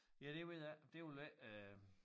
Ja det ved jeg ikke det vil jeg ikke øh